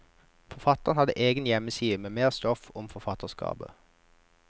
Forfatteren har egen hjemmeside med mer stoff om forfatterskapet.